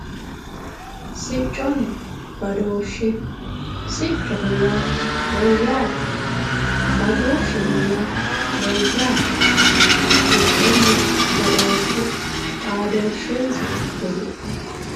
sicconna badooshshe siccoho yaa mayyaate badooshsheho yaa mayyate sicconna badooshshe xaadooshshensa kulie